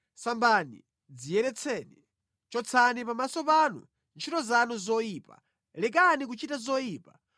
sambani, dziyeretseni. Chotsani pamaso panu ntchito zanu zoyipa! Lekani kuchita zoyipa,